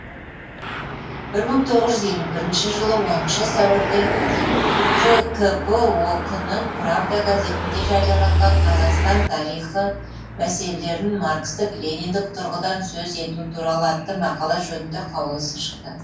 бір мың тоғыз жүз елу бірінші жылы оныншы сәуірде қкп ок нің правда газетінде жарияланған қазақстан тарихы мәселелерін маркстік лениндік тұрғыдан сөз ету туралы атты мақала жөнінде қаулысы шықты